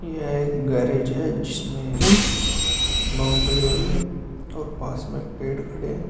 यह एक गैरेज है जिसमें की बाउंड्री हो रही है और पास में पेड़ खड़े।